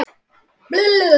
Þú og ég erum eitt.